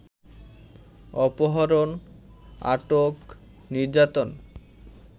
অপহরণ, আটক, নির্যাতন